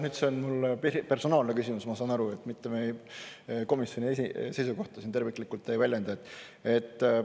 Nüüd see on mulle personaalne küsimus, ma saan aru, mitte et ma väljendaks meie komisjoni seisukohta terviklikult.